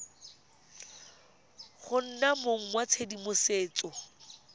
go nna mong wa tshedimosetso